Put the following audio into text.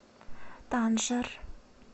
танжер